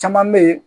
Caman bɛ yen